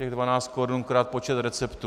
Těch 12 korun krát počet receptů.